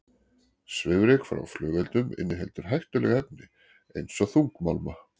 Svifryk frá flugeldum inniheldur hættuleg efni eins og þungmálma.